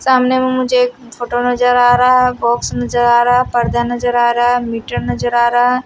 सामने में मुझे एक फोटो नजर आ रहा है बॉक्स नजर आ रहा है पर्दा नजर आ रहा है मीटर नजर आ रहा है।